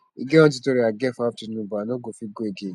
e get one tutorial i get for afternoon but i no go fit go again